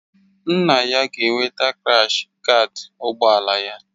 Nna ya ga-eweta krash gaad ụgbọ ala ya